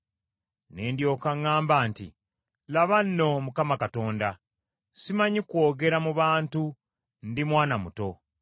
Ne ndyoka ŋŋamba nti, “Laba nno, Mukama Katonda! Simanyi kwogera mu bantu, ndi mwana muto.”